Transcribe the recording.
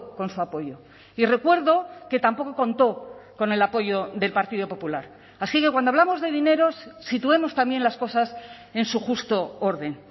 con su apoyo y recuerdo que tampoco contó con el apoyo del partido popular así que cuando hablamos de dineros situemos también las cosas en su justo orden